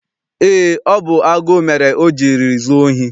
Eé, ọ bụ agụụ mere o jiri zuo ohi.